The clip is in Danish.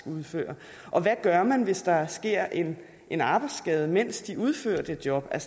udfører og hvad gør man hvis der sker en en arbejdsskade mens de udfører det job